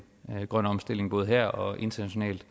grøn omstilling både her og internationalt